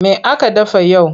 Me aka dafa yau?